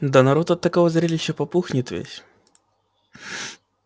да народ от такого зрелища попухнет весь